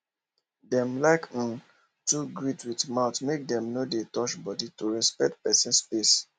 dem like um to greet with mouth make dem no dey touch body to respect person space